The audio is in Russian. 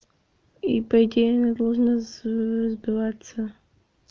и по идее она должна с сбиваться